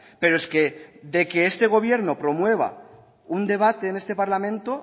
pero es que de que este gobierno promueva un debate en este parlamento